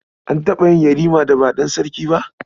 An taɓa yin Yarima da ba ɗan sarki ba?